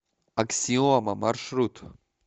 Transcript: аксиома маршрут